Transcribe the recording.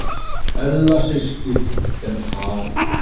Ella systir er farin.